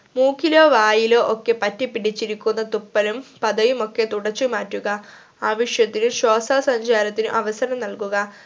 മൂക്കിലോ വായിലോ ഒക്കെ പറ്റിപ്പിടിച്ചിരിക്കുന്ന തുപ്പലും പതയുമൊക്കെ തുടച്ചു മാറ്റുക ആവിശ്യത്തിന് ശ്വാസ സഞ്ചാരത്തിന് അവസരം നൽകുക